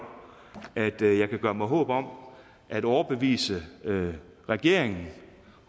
at jeg kan gøre mig håb om at overbevise regeringen